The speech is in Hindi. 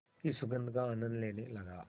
की सुगंध का आनंद लेने लगा